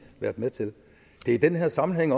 været med til det er den her sammenhæng